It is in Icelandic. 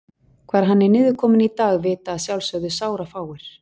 Hvar hann er niðurkominn í dag vita að sjálfsögðu sárafáir.